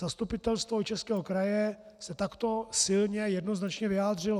Zastupitelstvo Jihočeského kraje se takto silně jednoznačně vyjádřilo.